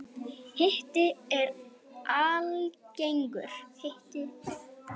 Hiti er algengur.